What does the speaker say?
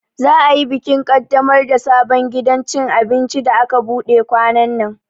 Za'a yi bikin kaddamar da sabon gidan cin abinci da aka buɗe kwanannan.